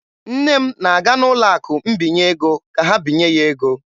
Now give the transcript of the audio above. Nne m na-aga n'ụlọ akụ mbinye ego ka ha binye ya ego.